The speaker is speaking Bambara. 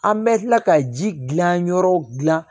An bɛ tila ka ji gilan yɔrɔ dilan